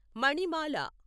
మణిమాల